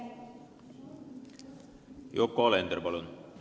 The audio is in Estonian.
Yoko Alender, palun!